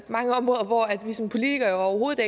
mange områder hvor vi som politikere jo overhovedet